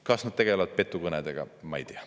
Kas nad tegelevad petukõnedega, ma ei tea.